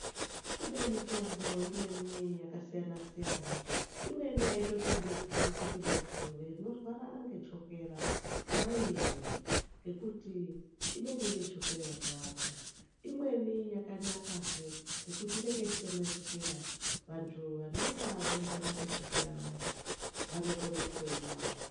Kune mitombo imweni yakasiyana siyana. Imweni haitotendedzwi kuti vantu vanorwara ngechokera vaimwe ngekuti inenge ine chokera yakawanda. Imweni yakanakazve nekuti inenge isitorina chokera. Vantu vanenga veirwara ngechokera vayani vanokono kutoimwawo.